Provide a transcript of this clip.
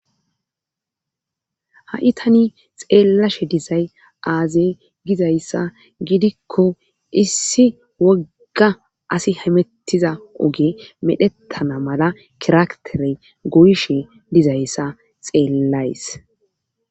ha7i tani xeellashe disay aazey gizayssa gidikko issi wogga asi hamettiza oge medhettana mala kiraktere goyishe dizayssa xeellays